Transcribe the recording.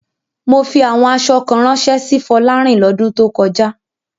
Mo fi àwọn aṣọ kan ránṣẹ́ sí Fọlárìn lọ́dún tó kọjá.